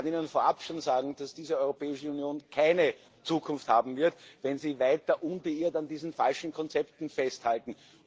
Ich kann Ihnen vorab schon sagen, dass diese Europäische Union keine Zukunft haben wird, wenn Sie weiter unbeirrt an diesen falschen Konzepten festhalten.